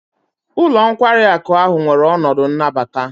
Ụlọ nkwari akụ ahụ nwere ọnọdụ nnabata.